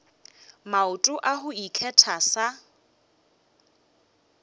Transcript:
maoto a go ikgetha sa